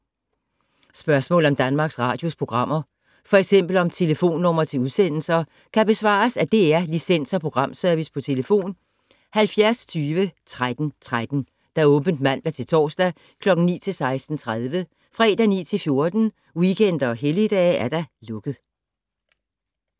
Spørgsmål om Danmarks Radios programmer, f.eks. om telefonnumre til udsendelser, kan besvares af DR Licens- og Programservice: tlf. 70 20 13 13, åbent mandag-torsdag 9.00-16.30, fredag 9.00-14.00, weekender og helligdage: lukket.